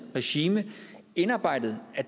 regime indarbejdet at